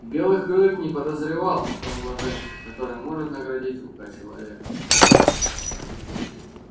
и белый клык не подозревал о том блаженстве которым может наградить рука человека